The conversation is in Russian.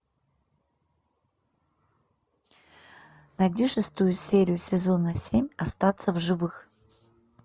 найди шестую серию сезона семь остаться в живых